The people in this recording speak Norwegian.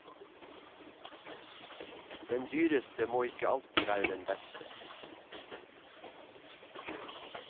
Den dyreste må ikke alltid være den beste.